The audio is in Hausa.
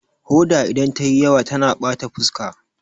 Hoda idan ta yi yawa tana bata fuska